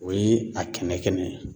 O ye a kɛnɛ kɛnɛ ye.